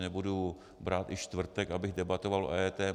Nebudu brát i čtvrtek, abych debatoval o EET.